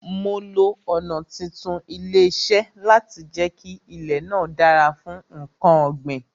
Mo lo ọ̀nà títún ilẹ̀ ṣe láti jẹ kí ilè náà dára fún nkan ọ̀ gbìn